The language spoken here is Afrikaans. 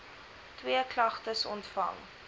twee klagtes ontvang